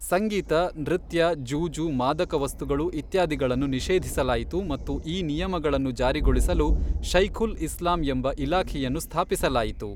ಸಂಗೀತ, ನೃತ್ಯ, ಜೂಜು, ಮಾದಕ ವಸ್ತುಗಳು ಇತ್ಯಾದಿಗಳನ್ನು ನಿಷೇಧಿಸಲಾಯಿತು ಮತ್ತು ಈ ನಿಯಮಗಳನ್ನು ಜಾರಿಗೊಳಿಸಲು ಶೈಖುಲ್ ಇಸ್ಲಾಂ ಎಂಬ ಇಲಾಖೆಯನ್ನು ಸ್ಥಾಪಿಸಲಾಯಿತು.